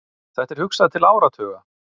Þetta er hugsað til áratuga.